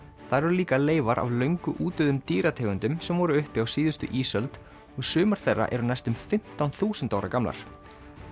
þar eru líka leifar af löngu dýrategundum sem voru uppi á síðustu ísöld og sumar þeirra eru næstum fimmtán þúsund ára gamlar